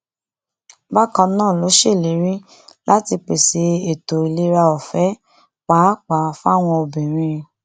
bákan náà ló ṣèlérí láti pèsè ètò ìlera ọfẹ pàápàá fáwọn obìnrin